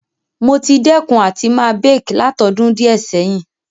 Mo ti dẹ́kun àti ma bake látodún díẹ̀ sẹ̀hin